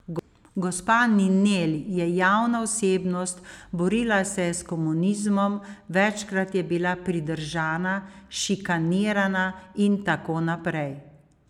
Gospa Ninel je javna osebnost, borila se je s komunizmom, večkrat je bila pridržana, šikanirana in tako naprej.